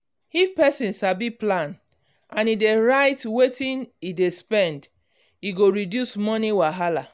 if person sabi plan and e dey write wetin e dey spend e go reduce money wahala.